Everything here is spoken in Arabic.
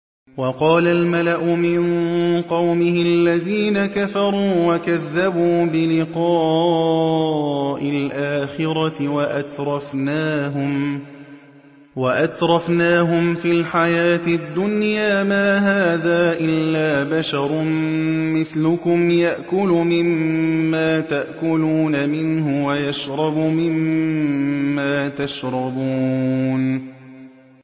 وَقَالَ الْمَلَأُ مِن قَوْمِهِ الَّذِينَ كَفَرُوا وَكَذَّبُوا بِلِقَاءِ الْآخِرَةِ وَأَتْرَفْنَاهُمْ فِي الْحَيَاةِ الدُّنْيَا مَا هَٰذَا إِلَّا بَشَرٌ مِّثْلُكُمْ يَأْكُلُ مِمَّا تَأْكُلُونَ مِنْهُ وَيَشْرَبُ مِمَّا تَشْرَبُونَ